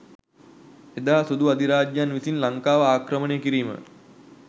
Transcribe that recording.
එදා සුදු අධිරාජ්‍යන් විසින් ලංකාව ආක්‍රමණය කිරීම